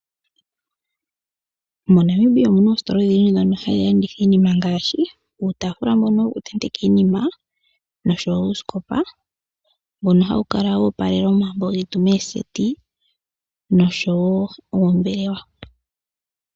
MoNamibia omu na oositola odhindji ndhono hadhi landitha iinima, ngaashi uutaafula mbono woku tenteka iinima, nosho wo uusikopa mbono hawu kala wo opalela omambo getu meeseti nosho wo oombelewa.